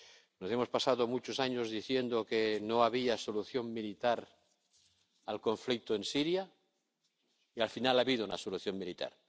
Nos hemos pasado muchos años diciendo que no había solución militar al conflicto en Siria y, al final, ha habido una solución militar.